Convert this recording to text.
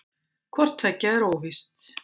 Hvort tveggja er óvíst.